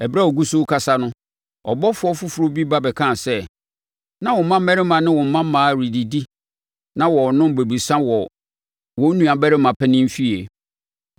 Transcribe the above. Ɛberɛ a ɔgu so rekasa no, ɔbɔfoɔ foforɔ bi ba bɛkaa sɛ, “Na wo mmammarima ne wo mmammaa redidi na wɔrenom bobesa wɔ wɔn nuabarima panin fie,